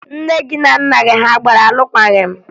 Nne gị na nna gị a gbara alụkwaghị m?